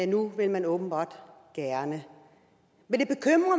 nu vil man åbenbart gerne men